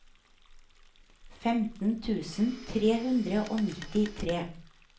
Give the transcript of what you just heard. femten tusen tre hundre og nittitre